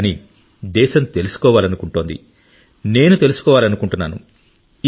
కానీ దేశం తెలుసుకోవాలనుకుంటుంది నేను తెలుసుకోవాలనుకుంటున్నాను